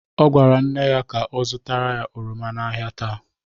Ọ gwara nne ya ka ọ zụtara ya oroma n'ahịa taa.